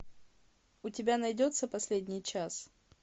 у тебя найдется последний час